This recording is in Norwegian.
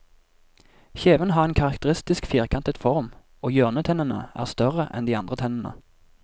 Kjevene har en karakteristisk firkantet form, og hjørnetennene er større enn de andre tennene.